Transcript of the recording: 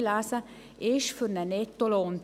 Ein grosser Teil ist für einen Nettolohn.